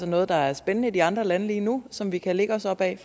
noget der er spændende i de andre lande lige nu som vi kan lægge os op ad